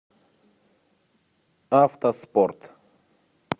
автоспорт